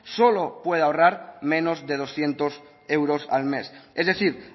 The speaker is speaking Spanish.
solo puede ahorrar menos de doscientos euros al mes es decir